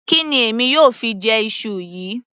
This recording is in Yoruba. Kí ni èmi yóò fi jẹ iṣu yìí